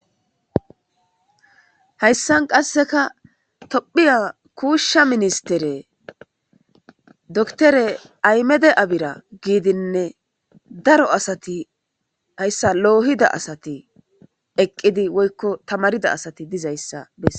Haysa qaseka Tophiya kusha ministeri dokiter ahimede abiy gidine haysan lo'ida asati eqidi woyko tamarida asati dizaysa beses.